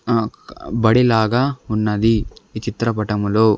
ఆ బడిలాగా ఉన్నది ఈ చిత్రపటంలో.